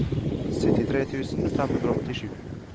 syttitre tusen fem hundre og åttisju